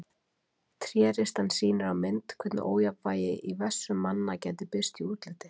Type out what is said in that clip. Tréristan sýnir á mynd hvernig ójafnvægi í vessum manna gæti birst í útliti.